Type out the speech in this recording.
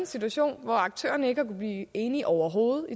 situation hvor aktørerne i kunnet blive enige overhovedet